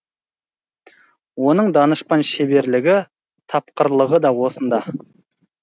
оның данышпан шеберлігі тапқырлығы да осында